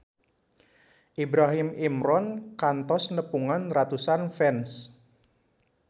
Ibrahim Imran kantos nepungan ratusan fans